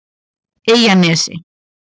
Eyjanesi